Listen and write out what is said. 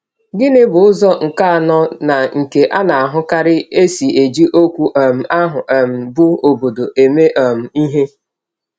Gịnị bụ ụzọ nke anọ na nke a na-ahụkarị e si eji okwu um ahụ um bụ́ “obodo” eme um ihe?